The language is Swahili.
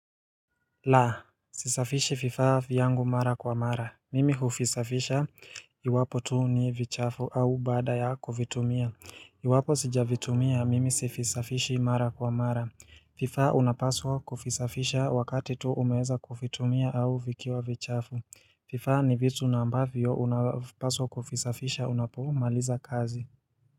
La, sisafishi vifaa vyangu mara kwa mara. Mimi huvisafisha, iwapo tu ni vichafu au baada ya kuvitumia. Iwapo sijavitumia, mimi sivisafishi mara kwa mara. Vivaa unapaswa kuvisafisha wakati tu umeweza kuvitumia au vikiwa vichafu. Vifaa ni vitu ambavyo unapaswa kuvisafisha unapomaliza kazi.